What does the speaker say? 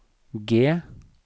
G